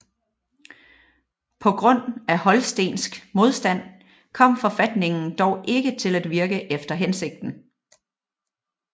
På grund af holstensk modstand kom forfatningen dog ikke til at virke efter hensigten